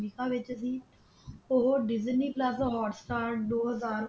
ਓਹਨਾ ਵਿਚ ਸੀ ਉਹ Disney Plus Hotstar ਦੋ ਹਾਜ਼ਰ